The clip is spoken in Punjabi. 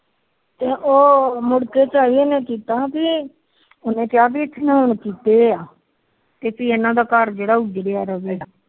ਉਹ ਮੁੜ ਕੇ ਉਹਨੇ ਕਿਹਾ ਇਹਨਾ ਦਾ ਘਰ ਜਿਹੜਾ ਉਢ